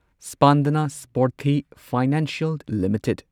Spandana Sphoorty financial limited